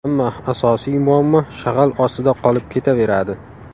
Ammo asosiy muammo shag‘al ostida qolib ketaveradi.